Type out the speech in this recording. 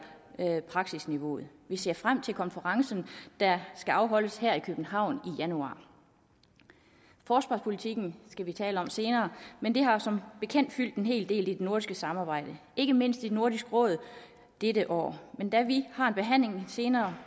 praksisniveauet vi ser frem til konferencen der skal afholdes her i københavn i januar forsvarspolitikken skal vi tale om senere men det har som bekendt fyldt en hel del i det nordiske samarbejde ikke mindst i nordisk råd dette år men da vi har en behandling senere